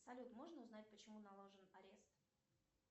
салют можно узнать почему наложен арест